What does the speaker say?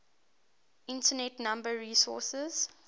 internet number resources